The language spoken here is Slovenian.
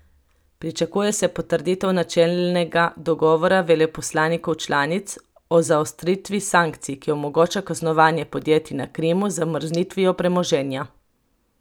Pričakuje se potrditev načelnega dogovora veleposlanikov članic o zaostritvi sankcij, ki omogoča kaznovanje podjetij na Krimu z zamrznitvijo premoženja.